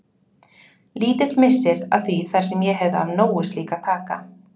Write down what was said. Lítill missir að því þar sem ég hefði af nógu slíku að taka.